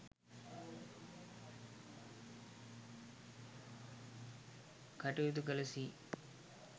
කටයුතු කළ සී.